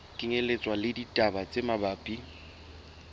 kenyelletswa le ditaba tse mabapi